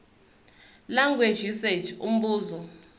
language usage umbuzo